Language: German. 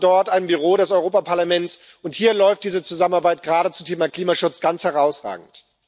Wir haben dort ein Büro des Europäischen Parlaments, und hier läuft diese Zusammenarbeit gerade zum Thema Klimaschutz ganz herausragend.